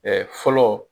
fɔlɔ